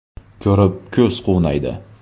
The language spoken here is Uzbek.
Ko‘rib ko‘z quvnaydi!.